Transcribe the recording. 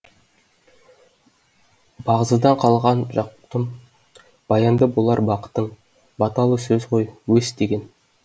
бағзыдан қалған жақұтым баянды болар бақытың баталы сөз ғой өс деген